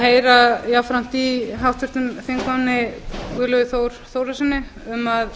heyra jafnframt því í háttvirtum þingmanni guðlaugi þór þórðarsyni um að